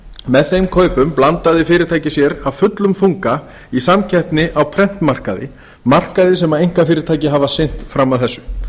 með þeim kaupum blandaði fyrirtækið sér af fullum þunga í samkeppni á prentmarkaði markaði sem einkafyrirtæki hafa sinnt fram að þessu